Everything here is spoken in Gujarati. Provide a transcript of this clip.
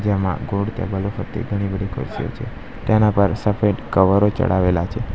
તેમાં ગોળ ટેબલ ઉપરથી ઘણી બધી ખુરશીઓ છે તેના પર સફેદ કવરો ચડાવેલા છે.